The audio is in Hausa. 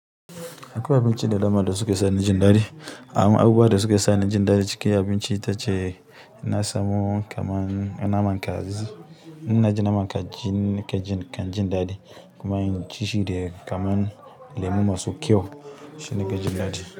Akwai abinci da dama da suke sa ni jin ɗaɗi. Amma abubuwa da suke sa ni jin ɗaɗi cikin abinci sune; na samo kamar naman kaji. Inna ji naman kaji na kan jin ɗaɗi, kuma in ci shi da kaman lemu masu kyau shi na kan jin daɗi.